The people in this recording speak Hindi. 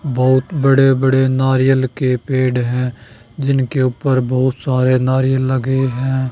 बहुत बड़े बड़े नारियल के पेड़ है जिनके ऊपर बहुत सारे नारियल लगे हैं।